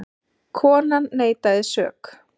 Konan neitaði sök.